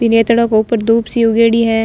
रेतडे के ऊपर दूब सी उगेड़ी है।